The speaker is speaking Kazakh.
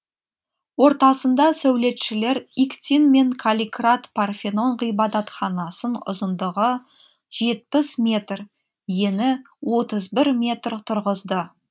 ортасында сәулетшілер иктин мен калликрат парфенон ғибадатханасын ұзындығы жетпіс метр ені отыз бір метр тұрғызды